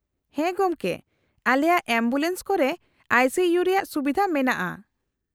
-ᱦᱮᱸ ᱜᱚᱢᱠᱮ ! ᱟᱞᱮᱭᱟᱜ ᱮᱢᱵᱩᱞᱮᱱᱥ ᱠᱚᱨᱮ ᱟᱭᱹ ᱥᱤᱹ ᱤᱭᱩ ᱨᱮᱭᱟᱜ ᱥᱩᱵᱤᱫᱷᱟ ᱢᱮᱱᱟᱜᱼᱟ ᱾